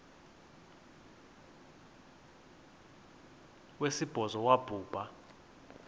wesibhozo wabhu bha